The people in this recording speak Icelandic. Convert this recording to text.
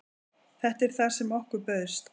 Þetta er það sem okkur bauðst